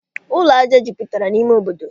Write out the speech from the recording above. Ụlọ aja jupụtara n'ime obodo